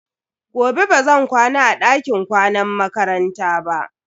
Gobe bazan kwana a dakin kwanan makaranta ba.